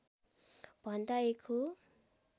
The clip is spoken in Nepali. भन्दा एक हो